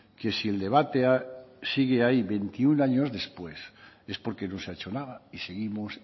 que si el debate sigue ahí veintiuno años después es porque no se ha hecho nada y seguimos